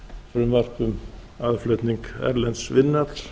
frumvarp um aðflutnings erlends vinnuafls